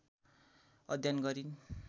अध्ययन गरिन्